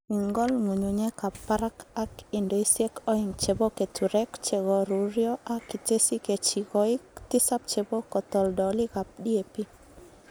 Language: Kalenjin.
Ing'ol ng'ung'unyekab barak ak indoisiek oeng' chebo keturek chegoruryo ak itesyi kechikoik tisab chebo katoldolikab DAP.